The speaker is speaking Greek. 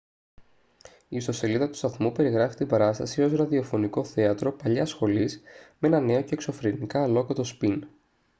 η ιστοσελίδα του σταθμού περιγράφει την παράσταση ως «ραδιοφωνικό θέατρο παλιάς σχολής με ένα νέο και εξωφρενικά αλλόκοτο σπιν»